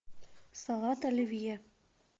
салат оливье